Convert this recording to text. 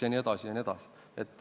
" Jne.